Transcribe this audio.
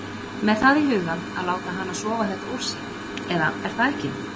Með það í huga að láta hana sofa þetta úr sér. eða er það ekki????